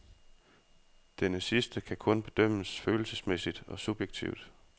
Denne sidste kan kun bedømmes følelsesmæssigt og subjektivt.